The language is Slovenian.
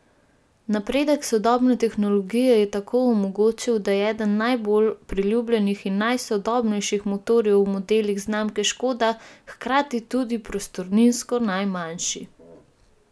Napredek sodobne tehnologije je tako omogočil, da je eden najbolj priljubljenih in najsodobnejših motorjev v modelih znamke Škoda hkrati tudi prostorninsko najmanjši!